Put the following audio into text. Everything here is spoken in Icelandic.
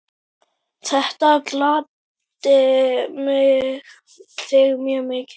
Þetta gladdi þig mjög mikið.